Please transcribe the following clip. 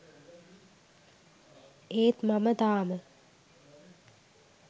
ඒත් මම තාම